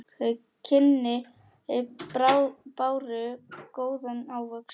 Þau kynni báru góðan ávöxt.